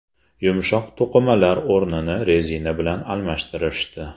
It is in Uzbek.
Yumshoq to‘qimalar o‘rnini rezina bilan almashtirishdi.